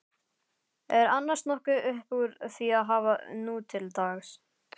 Er annars nokkuð uppúr því að hafa nútildags?